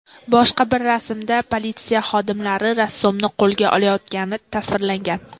Boshqa bir rasmda politsiya xodimlari rassomni qo‘lga olayotgani tasvirlangan.